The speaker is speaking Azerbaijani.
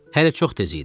Hələ çox tez idi.